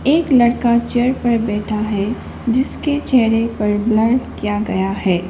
एक लड़का चेयर पर बैठा है जिसके चेहरे पर ब्लर किया गया है।